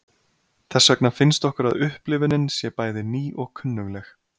Þess vegna finnst okkur að upplifunin sé bæði ný og kunnugleg.